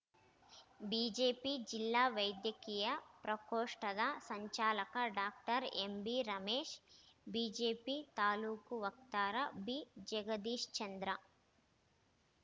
BJP ಜಿಲ್ಲಾ ವೈದ್ಯಕೀಯ ಪ್ರಕೋಷ್ಟದ ಸಂಚಾಲಕ ಡಾಕ್ಟರ್ ಎಂಬಿ ರಮೇಶ್‌ ಬಿಜೆಪಿ ತಾಲೂಕು ವಕ್ತಾರ ಬಿಜಗದೀಶ್ಚಂದ್ರ